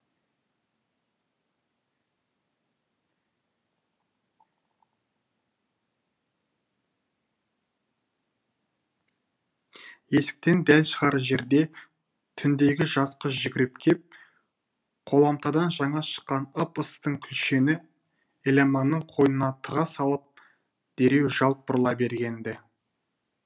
есіктен дәл шығар жерде түндегі жас қыз жүгіріп кеп қоламтадан жаңа шыққан ып ыстың күлшені еламанның қойнына тыға сала дереу жалт бұрыла берген ді